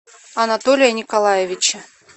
анатолия николаевича